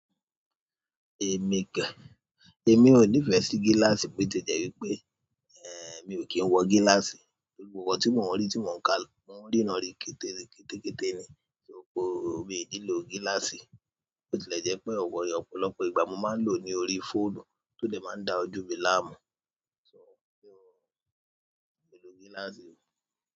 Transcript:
Èmi kẹ̀, èmi ò nífẹ̀ẹ́ sí gíláàsì bó ti jẹ́ wípé, eh mi ò kí ń wọ gíláàsì torí gbogbo ohun tí mò ń rí tí mò ń ká lọ, mò ń ríná rí kété kété ní, ṣo ko mi ò nílò gíláàsì. Ó tilẹ jẹ pé ọ̀pọ̀lọpọ̀ ìgbà mo máa ń lò ní orí fóònù tó dẹ máa ń dá ojú mi láàmú, ṣo ó tí ò, mi ò lò gíláàsì mọ̀.